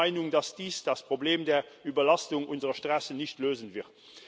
Ich bin der Meinung, dass dies das Problem der Überlastung unserer Straßen nicht lösen wird.